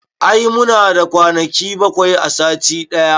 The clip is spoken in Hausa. I muna da kwanaki bakwai a sati ɗaya